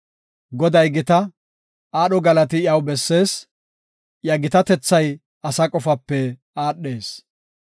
Goday gita; aadho galati iyaw bessees; iya gitatethay asa qofape aadhees.